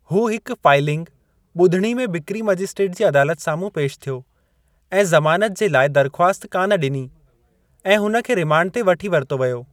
हू हिकु फाइलिंग, ॿुधणी में बिक्री मजिस्ट्रेट जी अदालत साम्हूं पेशि थियो, ऐं ज़मानत जे लाइ दरख़्वास्त कान डि॒नी, ऐं हुन खे रिमांड ते वठी वरितो व्यो।